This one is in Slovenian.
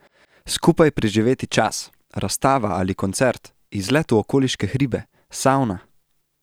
Skupaj preživeti čas, razstava ali koncert, izlet v okoliške hribe, savna.